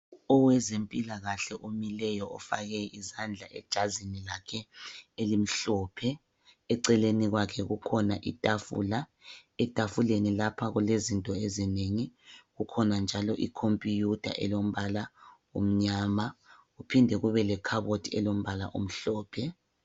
Owezempilakahle omileyo ofake izandla ejazini lakhe elimhlophe. Eceleni kwakhe kukhona itafula. Etafuleni lapha kulezinto ezinengi. Kukhona njalo i computer elombala omnyama kuphinde kube lekhabothi elombala omhlophe.